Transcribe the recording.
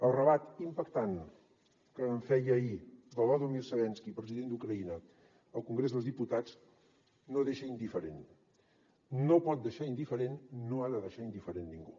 el relat impactant que en feia ahir volodímir zelenski president d’ucraïna al congrés dels diputats no deixa indiferent no pot deixar indiferent no ha de deixar indiferent ningú